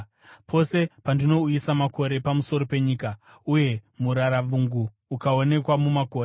Pose pandinouyisa makore pamusoro penyika, uye muraravungu ukaonekwa mumakore,